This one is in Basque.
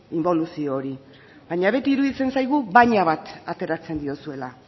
inboluzio hori baina beti iruditzen zaigu baina bat ateratzen diozuela